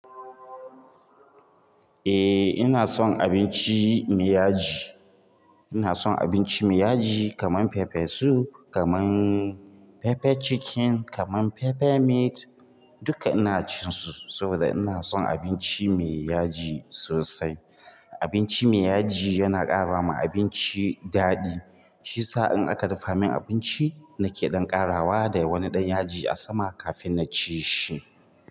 Eh ina son abinci mai yaji. Ina son abinci mai yaji kaman pepper soup, kaman pepper chicken, kaman pepper meat duka ina cin su saboda ina son abinci mai yaji sosai. Abinci mai yaji yana karama abinci daɗi shiyasa in aka dafa min abinci nake ɗan ƙarawa da wani ɗan yaji a sama kafin na ci shi.